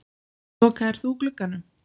Lokaðir þú glugganum?